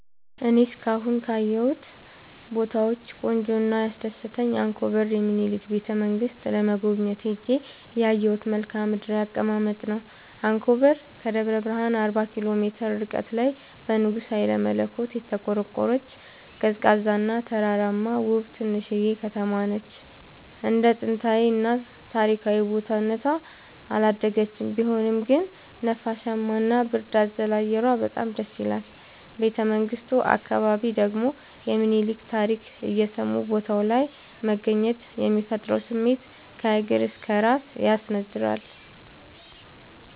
እኔ እስካሁን ካየሁት ቦታወች ቆንጆው እና ያስደሰተኝ አንኮበር የሚኒልክን ቤተ-መንግስት ለመጎብኘት ሄጄ ያየሁት መልከአ ምድራዊ አቀማመጥ ነው። አንኮበር ከደብረ ብረሃን አርባ ኪሎ ሜትር ርቀት ላይ በንጉስ ሀይለመለኮት የተቆረቆረች፤ ቀዝቃዛ እና ተራራማ ውብ ትንሽዬ ከተማነች እንደ ጥንታዊ እና ታሪካዊ ቦታ እነቷ አላደገችም ቢሆንም ግን ነፋሻማ እና ብርድ አዘል አየሯ በጣም ደስይላል። ቤተመንግቱ አካባቢ ደግሞ የሚኒልክን ታሪክ እየሰሙ ቦታው ላይ መገኘት የሚፈጥረው ስሜት ከእግር እስከ እራስ ያስነዝራል።